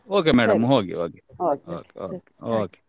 Okay madam , ಹೋಗಿ ಹೋಗಿ okay